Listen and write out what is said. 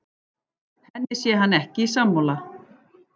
Henni sé hann ekki sammála